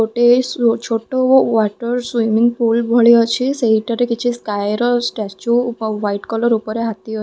ଗୋଟେ ସ୍ ଛୋଟ ୱାଟର୍ ସ୍ଵିମିଙ୍ଗ୍ ପୁଲ୍ ଭଳି ଅଛି ସେହିଠାରେ କିଛି ସ୍କାୟ ର ଷ୍ଟାଚ୍ୟୁ ଅ ହ୍ଵାଇଟ୍ କଲର୍ ଉପରେ ହାତୀ ଅ --